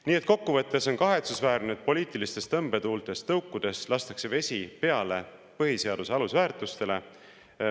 Nii et kokkuvõttes on kahetsusväärne, et poliitilistest tõmbetuultest tõukudes lastakse vesi peale põhiseaduse alusväärtustele.